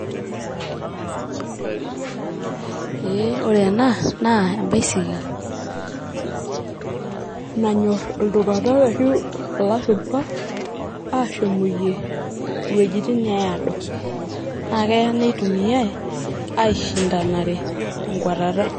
eeh ore enaa naa embaisikil nanyorr iltunganak ashu ilashumba ashooyie iwuejitin neado naa keya neitumiay aishindanare tenkwatata.